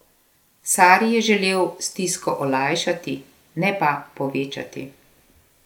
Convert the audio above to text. Sari je želel stisko olajšati, ne pa povečati.